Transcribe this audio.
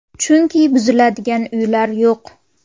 Chunki buziladigan uylar yo‘q.